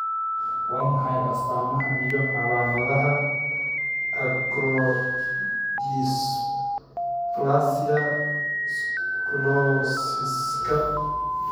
Waa maxay astaamaha iyo calaamadaha Acrodysplasia scoliosiska?